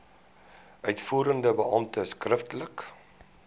uitvoerende beampte skriftelik